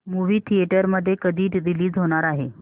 movie theatre मध्ये कधी release होणार आहे